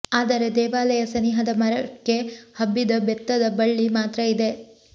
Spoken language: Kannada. ಆದರೆ ದೇವಾಲಯ ಸನಿಹದ ಮರಕ್ಕೆ ಹಬ್ಬಿದ ಬೆತ್ತದ ಬಳ್ಳಿ ಮಾತ್ರ ಇದೆ